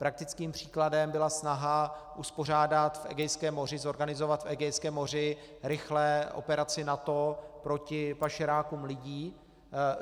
Praktickým příkladem byla snaha uspořádat v Egejském moři, zorganizovat v Egejském moři rychle operaci NATO proti pašerákům lidí.